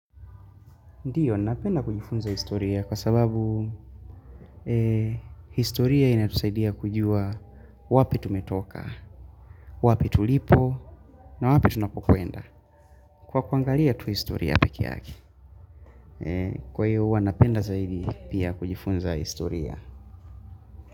Ndiyo, napenda kujifunza historia kwa sababu historia inatusaidia kujua wapi tumetoka, wapi tulipo na wapi tunapokwenda. Kwa kuangalia tu historia peke yake. Kwa hiyo, hua napenda zaidi pia kujifunza historia.